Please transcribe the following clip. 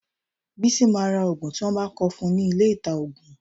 Bísí máa ra òògùn tí wọ́n bá kọ fún nílé ìta-òògùn.